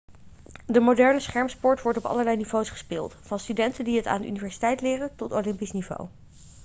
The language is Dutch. de moderne schermsport wordt op allerlei niveaus gespeeld van studenten die het aan de universiteit leren tot olympisch niveau